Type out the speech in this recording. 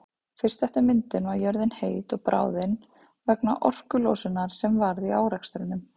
Fyrst eftir myndun var jörðin heit og bráðin vegna orkulosunar sem varð í árekstrunum.